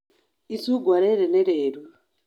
Icungwa rĩrĩ nĩ rĩru.